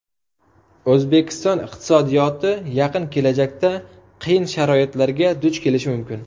O‘zbekiston iqtisodiyoti yaqin kelajakda qiyin sharoitlarga duch kelishi mumkin.